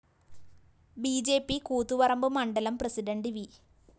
B J P Koothuparamba മണ്ഡലം president V